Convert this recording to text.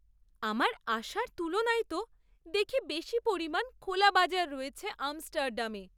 আমার আশার তুলনায় তো দেখি বেশি পরিমাণ খোলা বাজার রয়েছে আমস্টারডামে।